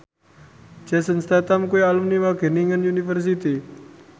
Jason Statham kuwi alumni Wageningen University